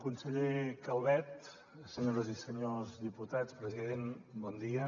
conseller calvet senyores i senyors diputats president bon dia